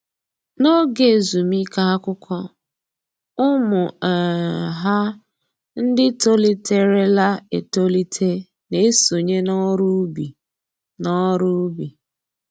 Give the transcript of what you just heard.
N'oge ezumike akwụkwọ, ụmụ um ha ndị toliterela etolite na-esonye n'ọrụ ubi n'ọrụ ubi